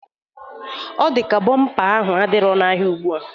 Ọ dị ya ka bọmpa ahụ adirọ n'ahịa ugbua.